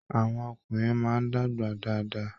Àwọn ọkùnrin máa dàgbà dáadáa.